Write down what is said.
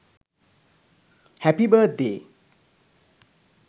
happy birthday